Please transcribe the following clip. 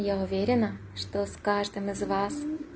я уверена что с каждым из вас